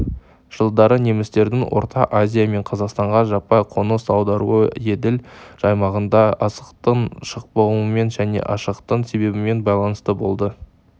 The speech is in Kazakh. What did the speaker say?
жылдары немістердің орта азия мен қазақстанға жаппай қоныс аударуы еділ аймағында астықтың шықпауымен және аштықтың себебімен байланысты болды